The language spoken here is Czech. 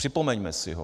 Připomeňme si ho.